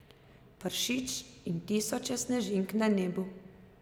Pršič in tisoče snežink na nebu.